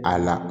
A la